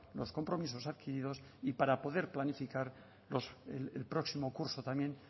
los compromisos adquiridos y para poder planificar el próximo curso también